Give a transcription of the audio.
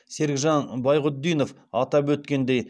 серікжан байғұтдинов атап өткендей